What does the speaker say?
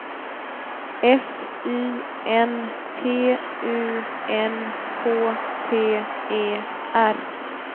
S Y N P U N K T E R